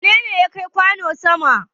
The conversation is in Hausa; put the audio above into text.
Wane ne ya kai kwano sama?